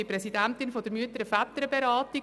Ich bin Präsidentin der Mütter- und Väterberatung.